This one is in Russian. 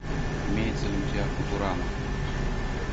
имеется ли у тебя футурама